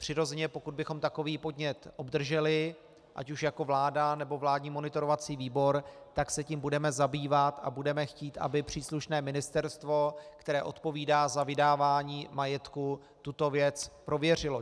Přirozeně pokud bychom takový podnět obdrželi, ať už jako vláda, nebo vládní monitorovací výbor, tak se tím budeme zabývat a budeme chtít, aby příslušné ministerstvo, které odpovídá za vydávání majetku, tuto věc prověřilo.